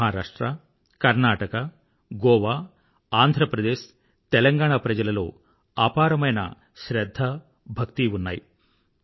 మహారాష్ట్ర కర్ణాటక గోవా ఆంధ్రప్రదేశ్ తెలంగాణా ప్రజలలో అపారమైన శ్రధ్ధ భక్తి ఉన్నాయి